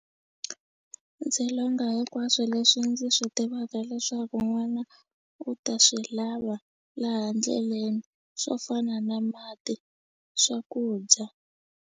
Ndzi longa hinkwaswo leswi ndzi swi tivaka leswaku n'wana u ta swi lava laha ndleleni swo fana na mati swakudya.